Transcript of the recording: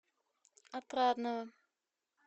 отрадного